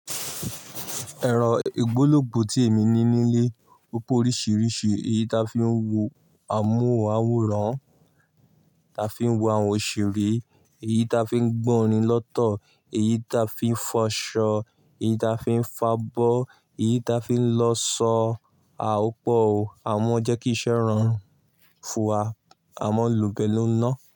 Ẹ̀rọ ìgbólógbò tí èmi ní nílé ó pọ́ oríṣiríṣi, èyí ta fi ń wo amóhùn máwòrán, ta fi ń wo àwọn òṣèré, èyí ta fi ń gbọ́ orin lọ́tọ̀, èyí ta fi ń fọṣọ, èyí ta fi ń fabọ́, èyí ta fi ń lọ sọ à ó pọ̀ o. Àmọ́ jẹ́ kí iṣẹ́ rọrùn fún wa, àmọ́ ń lòó pẹ̀lú iná.